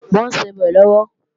Mò ń sebẹ̀ lọ́wọ́